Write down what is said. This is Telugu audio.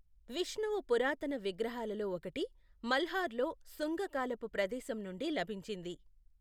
విష్ణువు పురాతన విగ్రహాలలో ఒకటి, మల్హర్లో శుంగ కాలపు ప్రదేశం నుండి లభించింది.